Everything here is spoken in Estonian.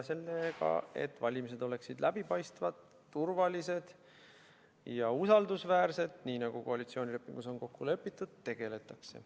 Sellega, et valimised oleksid läbipaistvad, turvalised ja usaldusväärsed, nii nagu koalitsioonilepingus on kokku lepitud, tegeletakse.